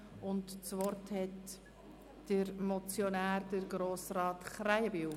Das Wort hat der Motionär, Grossrat Krähenbühl.